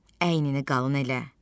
Əynini qalın elə.